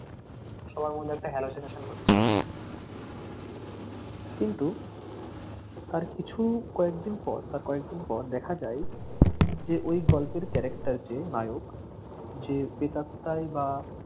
সবার মধ্যে একটা hallucination হচ্ছে কিন্তু তার কিছু কয়েকদিন পর তার কয়েকদিন পর দেখা যায় যে ওই গল্পের character যে নায়ক যে প্রেত আত্মায় বা